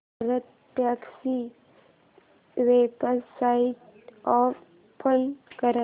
भारतटॅक्सी ची website open कर